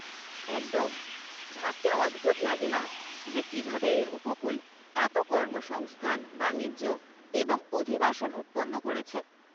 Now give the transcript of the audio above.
একদম। ভাবতে অদ্ভুত লাগে না যে কীভাবে এই উপকূল এত কর্মসংস্থান, বাণিজ্য এবং অভিবাসন উৎপন্ন করেছে।